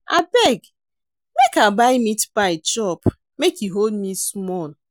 Abeg, make I buy meatpie chop make e hold me small.